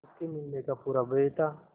उसके मिलने का पूरा भय था